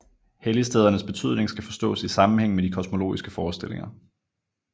Helligstedernes betydning skal forstås i sammenhæng med de kosmologiske forestillinger